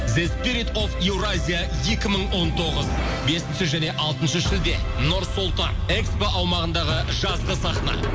зеспирит оф еуразия екі мың он тоғыз бесінші және алтыншы шілде нұр сұлтан экспо аумағындағы жазғы сахна